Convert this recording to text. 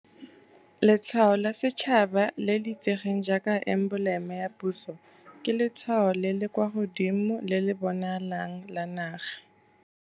Letshwao la Setšhaba, le le itsegeng jaaka emboleme ya puso, ke letshwao le le kwa godimo le le bonalang la naga.